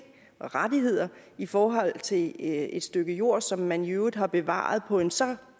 rettigheder i forhold til et stykke jord som man i øvrigt har bevaret på en så